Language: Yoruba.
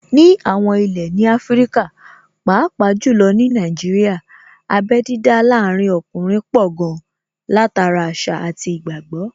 Ní àwọn ilé ní Áfríkà, pàápàá jù lọ ní Nàìjíríà, abé dídá láàrin ọkùnrin pọ̀ gan-an, látara àṣà àti ìgbàgbọ́